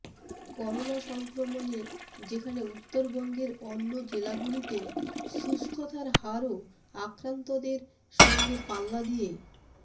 corona সংক্রমণে যেখানে উত্তরবঙ্গের অন্য জেলাগুলিতে সুস্থতার হারও আক্রান্তের সঙ্গে পাল্লা দিয়ে